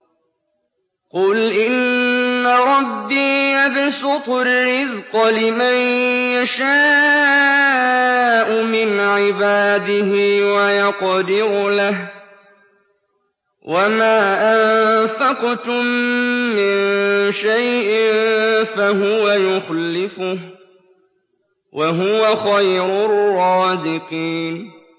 قُلْ إِنَّ رَبِّي يَبْسُطُ الرِّزْقَ لِمَن يَشَاءُ مِنْ عِبَادِهِ وَيَقْدِرُ لَهُ ۚ وَمَا أَنفَقْتُم مِّن شَيْءٍ فَهُوَ يُخْلِفُهُ ۖ وَهُوَ خَيْرُ الرَّازِقِينَ